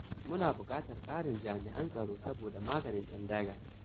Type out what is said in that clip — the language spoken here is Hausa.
Muna buƙatar ƙarin jami'an tsaro saboda maganin ƴan daga.